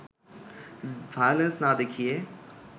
violence না দেখিয়ে